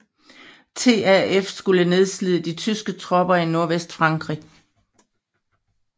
TAF skulle nedslide de tyske tropper i Nordvestfrankrig